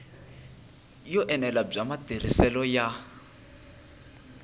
yo enela bya matirhiselo ya